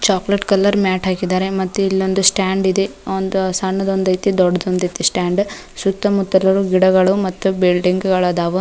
Chocolate colour mat ಹಾಕಿದ್ದಾರೆ ಮತ್ತು ಇಲ್ಲೊಂದು ಸ್ಟ್ಯಾಂಡ್ ಇದೆ ಒಂದು ಸಣ್ಣದೊಂದೈತಿ ಒಂದು ದೊಡ್ಡದೊಂದೈತಿ ಸ್ಟ್ಯಾಂಡ್ ಸುತ್ತಮುತ್ತಲು ಗಿಡಗಳು ಮತ್ತು ಬಿಲ್ಡಿಂಗ್ ಗಳು ಅದಾವು.